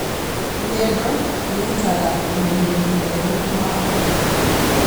Rũgendo rũrutagaũmenyeri mwerũ wa ũtũũro.